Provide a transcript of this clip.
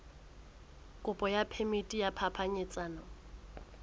kopo ya phemiti ya phapanyetsano